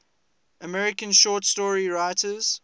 american short story writers